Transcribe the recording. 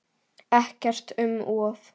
Ekkert um of.